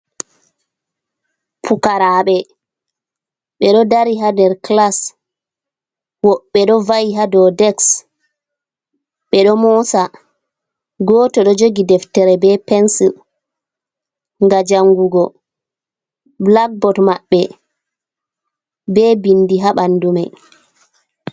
Pukarabe, ɓe do dari hader kilas woɓɓe do va'i hadou deks ɓe do moosa goto do jogi deftere be pensil ga jangugo. blackboot maɓɓe be bindi ha ɓanduman.